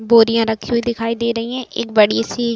बोरियां रखी हुई दिखाई दे रही हैं। एक बड़ी सी--